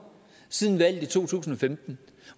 siden valget i to tusind og femten